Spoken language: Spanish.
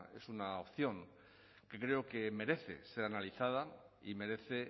es una opción que creo que merece ser analizada y merece